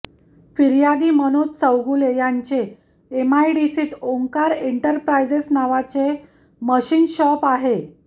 फिर्यादी मनोज चौगुले यांचे एमआयडीसीत ओंकार इंटरप्रायजेस नावाचे मशीन शॉप आहे